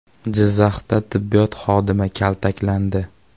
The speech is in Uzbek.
Jizzaxda tibbiyot xodimi kaltaklandi.